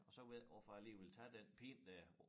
Og så ved jeg ikke hvorfor jeg lige ville tage den pind dér